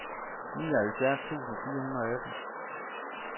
nioghalvfjerds tusind fire hundrede og atten